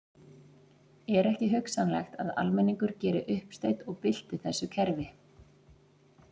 Er ekki hugsanlegt að almenningur geri uppsteyt og bylti þessu kerfi?